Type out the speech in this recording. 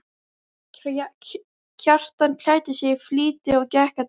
Kjartan klæddi sig í flýti og gekk á dyr.